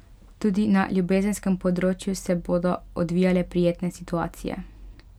Tudi na ljubezenskem področju se bodo odvijale prijetne situacije.